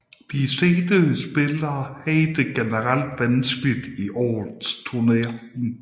De seedede spillere havde det generelt vanskeligt i årets turnering